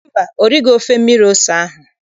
Mba, o righị ofe mmiri ose ahụ.